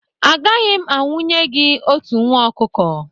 Agaghị m anwụnye gị otu nwa ọkụkọ